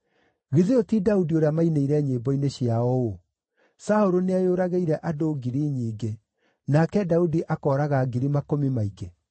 Githĩ ũyũ ti Daudi ũrĩa mainĩire nyĩmbo-inĩ ciao ũũ: “ ‘Saũlũ nĩeyũragĩire andũ ngiri nyingĩ, nake Daudi akooraga ngiri makũmi maingĩ’?”